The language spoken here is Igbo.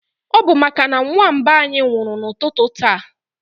Ọ bu màkà na nwa mba anyị nwụrụ na ụtụtụ taa